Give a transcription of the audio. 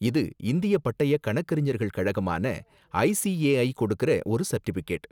இது இந்தியப் பட்டயக் கணக்கறிஞர்கள் கழகமான ஐஸிஏஐ கொடுக்குற ஒரு சர்டிபிகேட்.